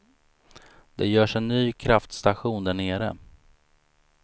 Det görs en ny kraftstation därnere.